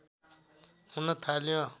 हुन थाल्यो